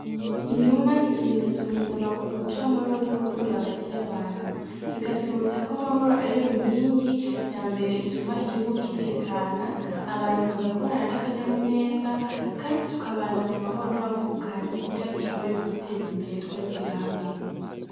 Inuma n'ikimetso mpuzamakungu c'amahoro n'urukundo hagati y'abantu bikatwibutsa ko amahoro ariyo nkingi yambere ituma igihugu gitekana abantu bagakorana n'akanyamuneza kandi tukabana mu mahoro n'abavukanyi kugira dushobore kwiteza imbere twese hamwe.